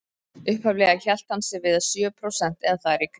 Upphaflega hélt hann sig við sjö prósent eða þar í kring.